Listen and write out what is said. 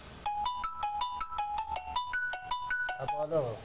হ্যাঁ, বলো,